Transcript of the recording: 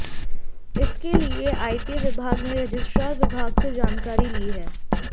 इसके लिए आईटी विभाग ने रजिस्ट्रार विभाग से जानकारी ली है